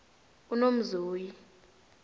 unomzoyi